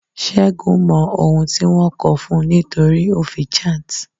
Sẹgun mọ ohun tí wọn ko fun nítorí ó fi chant.